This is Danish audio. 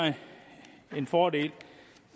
en fordel